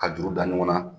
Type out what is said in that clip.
Ka juru da ɲɔgɔn na